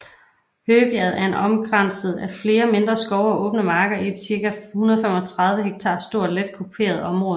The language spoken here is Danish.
Høgebjerget er omkranset af flere mindre skov og åbne marker i et cirka 135 ha stort let kuperet området